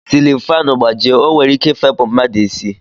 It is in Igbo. Silin fanụ gbajie o nwere ike ifepu mmadụ isi.